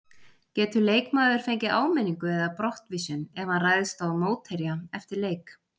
Getur leikmaður fengið áminningu eða brottvísun ef hann ræðst á mótherja eftir leik?